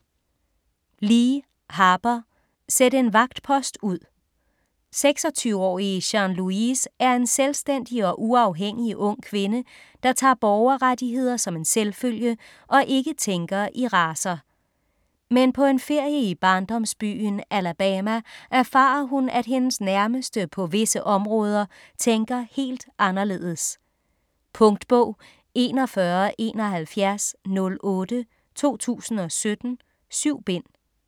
Lee, Harper: Sæt en vagtpost ud 26-årige Jean Louise er en selvstændig og uafhængig ung kvinde, der tager borgerrettigheder som en selvfølge og ikke tænker i racer. Men på en ferie i barndomsbyen i Alabama erfarer hun, at hendes nærmeste på visse områder tænker helt anderledes. Punktbog 417108 2017. 7 bind.